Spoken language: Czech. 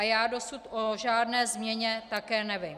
A já dosud o žádné změně také nevím.